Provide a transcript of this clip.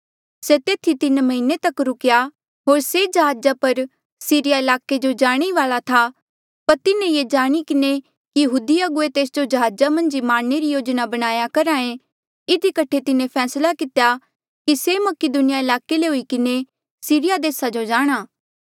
से तेथी तीन म्हीने तक रुकेया होर से जहाजा पर सीरिया ईलाके जो जाणे ही वाल्आ था पर तिन्हें ये जाणी किन्हें कि यहूदी अगुवे तेस जो जहाजा मन्झ ही मारणे री योजना बनाया करहा ऐें इधी कठे तिन्हें फैसला कितेया कि से मकीदुनिया ईलाके ले हुई किन्हें सीरिया देसा जो जाणा